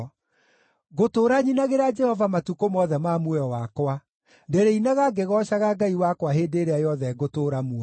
Ngũtũũra nyinagĩra Jehova matukũ mothe ma muoyo wakwa; ndĩrĩinaga ngĩgoocaga Ngai wakwa hĩndĩ ĩrĩa yothe ngũtũũra muoyo.